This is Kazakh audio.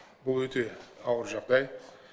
бұл өте ауыр жағдай